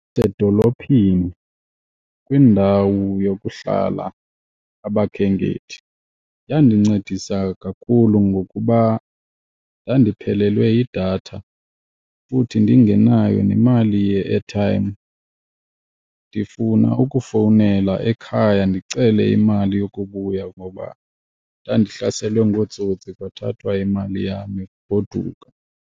Edolophini kwindawo yokuhlala abakhenkethi yandincedisa kakhulu, ngokuba ndandiphelelwe yidatha futhi ndingenayo nemali ye-airtime ndifuna ukufowunela ekhaya ndicele imali yokubuya ngoba ndandihlaselwe ngootsotsi kwathathwa imali yam yokugoduka.